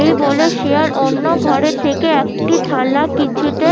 এই বলে শিয়াল অন্য ঘরে থেকে একটি থালা কিছুতে